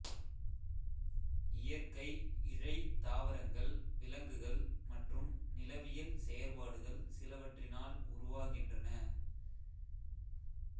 இயற்கை இழை தாவரங்கள் விலங்குகள் மற்றும் நிலவியல் செயற்பாடுகள் சிலவற்றினால் உருவாகின்றன